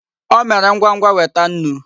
O mere ngwa ngwa weta nnu.